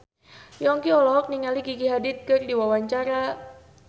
Yongki olohok ningali Gigi Hadid keur diwawancara